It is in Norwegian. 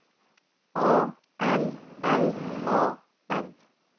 A L L A N